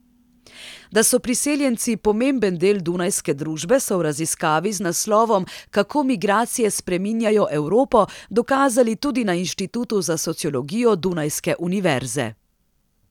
Da so priseljenci pomemben del dunajske družbe, so v raziskavi z naslovom Kako migracije spreminjajo Evropo dokazali tudi na Inštitutu za sociologijo Dunajske univerze.